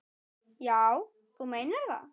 Já, þú meinar það.